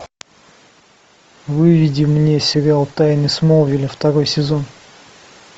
выведи мне сериал тайны смолвиля второй сезон